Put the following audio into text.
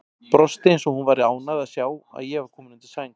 Brosti eins og hún væri ánægð að sjá að ég var kominn undir sæng.